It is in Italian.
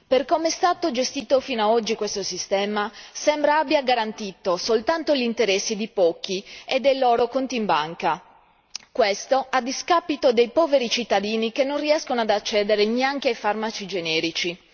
Per come è stato gestito fino ad oggi, questo sistema sembra abbia garantito soltanto gli interessi di pochi e del loro conto in banca, a discapito dei poveri cittadini che non riescono ad accedere neanche ai farmaci generici.